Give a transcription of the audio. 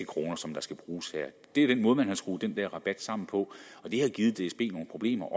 kroner som skal bruges her det er den måde man har skruet den her rabat sammen på og det har givet dsb nogle problemer